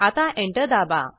आता एंटर दाबा